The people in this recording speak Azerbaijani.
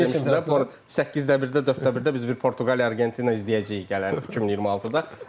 Dedim də, səkkizdə birə, dörddə birə biz bir Portuqaliya, Argentina izləyəcəyik gələn 2026-da.